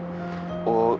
og